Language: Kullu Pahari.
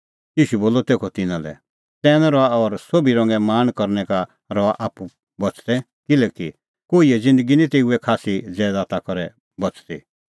ईशू बोलअ तेखअ तिन्नां लै चतैन रहा और सोभी रंगे लाल़च़ करनै का रहा आप्पू बच़दै किल्हैकि कोहिए ज़िन्दगी निं तेऊए खास्सी ज़ैदात करै बच़दी